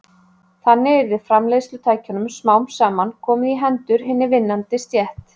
Þannig yrði framleiðslutækjunum smám saman komið í hendur hinni vinnandi stétt.